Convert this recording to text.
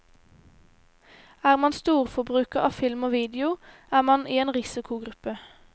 Er man storforbruker av film og video, er man i en risikogruppe.